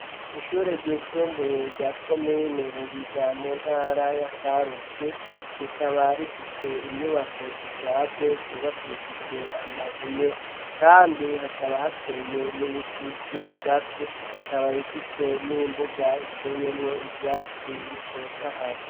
Ishure ry'isumbuye rya komine Buhiga mu ntara ya Karusi rikaba rifise inyubako zishaje zubakishijwe amabuye kandi hakaba hateye n'ibiti vy'ibigazi ikaba ifise n'imbuga iteyemwo ivyatsi bitotahaye.